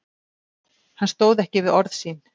Hann stóð ekki við orð sín.